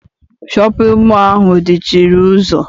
Shọpịn mọọ ahụ dị chịrị ụzọ.